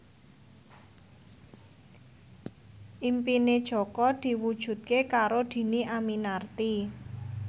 impine Jaka diwujudke karo Dhini Aminarti